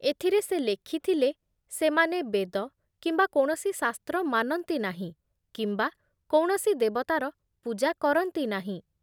ଏଥିରେ ସେ ଲେଖିଥିଲେ ଯେ ସେମାନେ ବେଦ କିମ୍ବା କୌଣସି ଶାସ୍ତ୍ର ମାନନ୍ତି ନାହିଁ କିମ୍ବା କୌଣସି ଦେବତାର ପୂଜା କରନ୍ତି ନାହିଁ ।